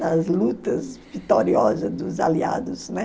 Das lutas vitoriosas dos aliados, né?